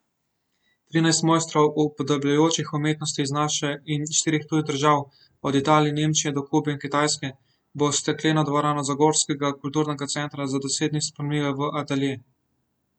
Trinajst mojstrov upodabljajočih umetnosti iz naše in štirih tujih držav, od Italije, Nemčije do Kube in Kitajske, bo stekleno dvorano zagorskega kulturnega centra za deset dni spremenilo v atelje.